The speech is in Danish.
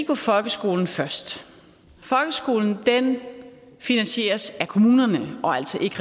på folkeskolen først folkeskolen finansieres af kommunerne og altså ikke